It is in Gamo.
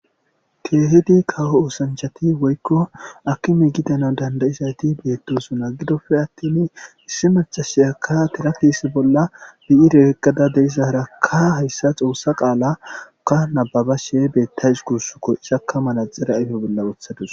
Keehidi kawo oosanchchathi woykko aakime gidanawu danddayiza ethi doosona; gidoppe aththini issi maccasiyakka thira kiise bolla biire oykkada de7izaarakka hayssa xoossa qaalaakka nabbabashee beeththawus guusakoo; izakka manatsire ayfe bolla woththa dawus.